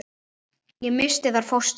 Ég missti þar fóstur.